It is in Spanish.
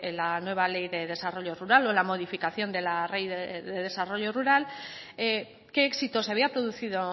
la nueva ley de desarrollo rural o la modificación de la ley de desarrollo rural qué éxisto se había producido